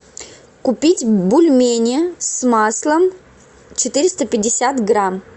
купить бульмени с маслом четыреста пятьдесят грамм